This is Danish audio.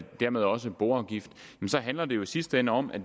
dermed også boafgift så handler det jo i sidste ende om at